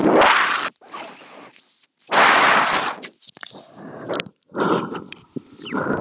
Bara rétt á meðan hún er að jafna sig.